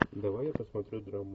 давай я посмотрю драму